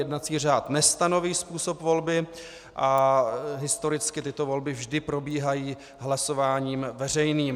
Jednací řád nestanoví způsob volby a historicky tyto volby vždy probíhají hlasováním veřejným.